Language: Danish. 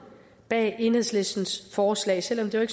bag enhedslistens forslag selv om det